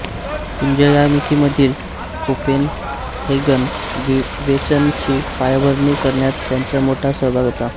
पुंजयामिकीमधील Copenhagen विवेचनची पायाभरणी करण्यात त्यांचा मोठा सहभाग होता